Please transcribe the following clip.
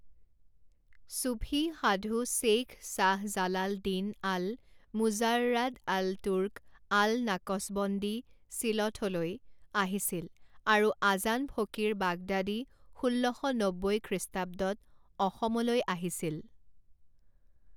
চুফী সাধু শ্বেইখ শ্বাহ জালাল দীন আল মুজাৰ্ৰাদ আল তুৰ্ক আল নাকচবন্দি ছিলঠলৈ আহিছিল, আৰু আজান ফকিৰ বাগদাদী ষোল্ল শ নব্বৈ খ্ৰীষ্টাব্দত অসমলৈ আহিছিল।